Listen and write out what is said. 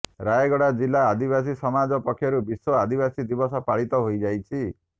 ରାୟଗଡ଼ା ଜିଲ୍ଲା ଆଦିବାସୀ ସମାଜ ପକ୍ଷରୁ ବିଶ୍ୱ ଆଦିବାସୀ ଦିବସ ପାଳିତ ହୋଇଯାଇଛି